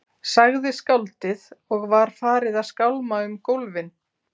sagði skáldið og var farið að skálma um gólfin.